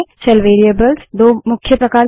shell variables दो मुख्य प्रकार के होते हैं